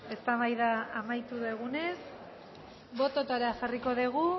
eztabaida amaitu dugunez bototara jarriko dugu